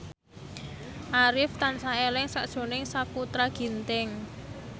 Arif tansah eling sakjroning Sakutra Ginting